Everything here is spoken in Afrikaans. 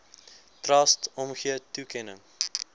trust omgee toekenning